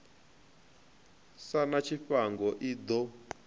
sa na tshifhango i ḓo